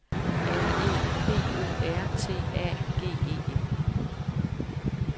R E P O R T A G E N